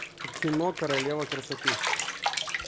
кино королева красоты